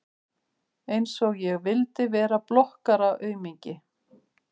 Einsog ég vildi vera blokkaraaumingi!